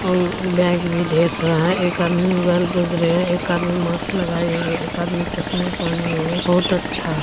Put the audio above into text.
और बैग भी ढेर सारा है एक आदमी मोबाइल खोज रहे हैं एक आदमी माक्स लगाए हुए हैं और एक आदमी चश्मे पहने हुए हैं बहुत अच्छा |